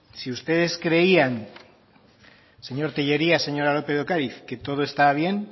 si ustedes creían señor telleria señora lópez de ocariz que todo estaba bien